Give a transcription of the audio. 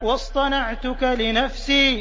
وَاصْطَنَعْتُكَ لِنَفْسِي